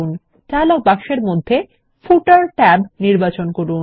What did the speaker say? dialogue বক্সের মধ্যে footer tab নির্বাচন করুন